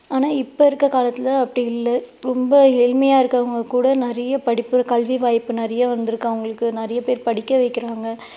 ஆனா இப்போ இருக்கிற காலத்துல அப்படி இல்ல ரொம்ப ஏழ்மையா இருக்கவங்க கூட நிறைய படிப்பு கல்வி வாய்ப்பு நிறைய வந்துருக்கு அவங்களுக்கு நிறைய பேர் படிக்க வைக்கிறாங்க.